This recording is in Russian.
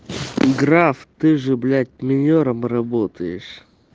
граф ты же блять минёром работаешь